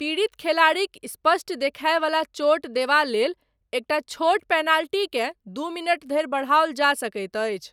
पीड़ित खेलाड़ीक स्पष्ट देखायवला चोट देबा लेल, एकटा छोट पेनाल्टीकेँ, दू मिनट धरि बढ़ाओल जा सकैत अछि।